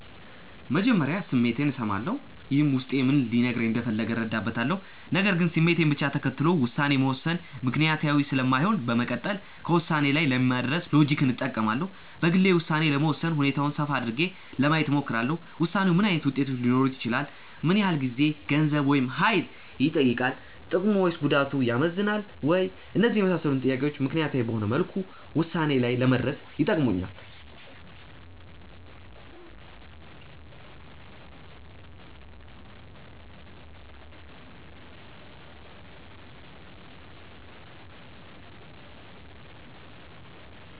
መጀመሪያ ስሜቴን እሰማለሁ። ይህም ውስጤ ምን ሊነግረኝ እንደፈለገ እረዳበታለሁ። ነገር ግን ስሜትን ብቻ ተከትሎ ውሳኔ መወሰን ምክንያታዊ ስለማይሆን በመቀጠል ከውሳኔ ላይ ለመድረስ ሎጂክን እጠቀማለሁ። በግሌ ውሳኔ ለመወሰን ሁኔታውን ሰፋ አድርጌ ለማየት እሞክራለሁ። ውሳኔው ምን ዓይነት ውጤቶች ሊኖሩት ይችላሉ? ምን ያህል ጊዜ፣ ገንዘብ፣ ወይም ሀይል ይጠይቃል። ጥቅሙ ወይስ ጉዳቱ ያመዝናል ወይ? እነዚህን የመሳሰሉ ጥያቄዎች ምክንያታዊ በሆነ መልኩ ውሳኔ ላይ ለመድረስ ይጠቅሙኛል።